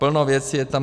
Plno věcí je tam.